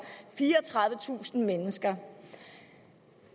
fireogtredivetusind mennesker